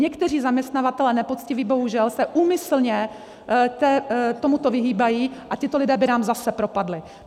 Někteří zaměstnavatelé nepoctiví, bohužel, se úmyslně tomuto vyhýbají a tito lidé by nám zase propadli.